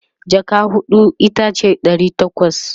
jaka huɗu itace Dari takwas